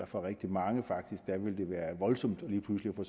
for rigtig mange vil det være voldsomt lige pludselig at få